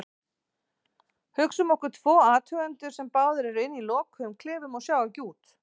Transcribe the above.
Hugsum okkur tvo athugendur sem báðir eru inni í lokuðum klefum og sjá ekki út.